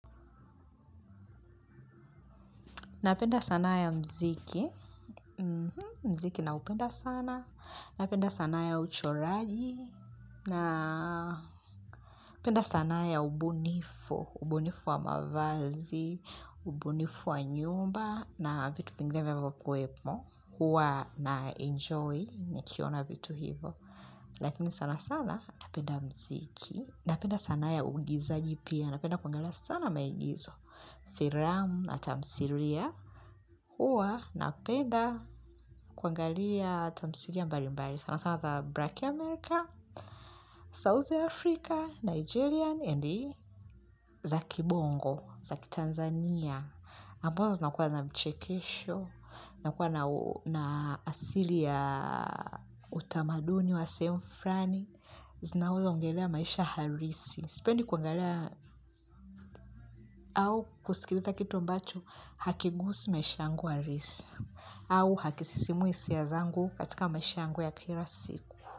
Napenda sanaa ya mziki, mziki naupenda sana, napenda sanaa ya uchoraji, napenda sanaa ya ubunifu, ubunifu wa mavazi, ubunifu wa nyumba na vitu vingine vinavyokuwepo, huwa na enjoy nikiona vitu hivo. Lakini sana sana napenda mziki, napenda sanaa ya uigizaji pia, napenda kuangalia sana maigizo, firamu na tamsiria, huwa napenda kuangalia tamsiria mbali mbali, sana sana za Black America, South Africa, Nigerian, endi za kibongo, za kitanzania. Ambazo zinakuwa na mchekesho, zinakuwa na asili ya utamaduni wa sehemu fulani zinazoongelelea maisha halisi. Sipendi kuangalia au kusikiliza kitu ambacho hakiguzi maisha yangu halisi, au hakisisimui hisia zangu katika maisha yangu ya kila siku.